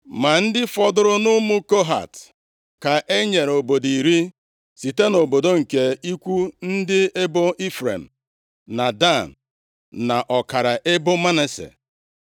Ma ndị fọdụrụ nʼụmụ Kohat ka e nyere obodo iri site nʼobodo nke ikwu ndị ebo Ifrem, na Dan, na ọkara ebo Manase.